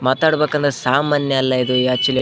ಮಾತಾಡ್ಬೇಕು ಅಂದ್ರೆ ಸಾಮಾನ್ಯ ಅಲ್ಲ ಇದು ಯ್ಯಾಚ್ಛುಲಿ --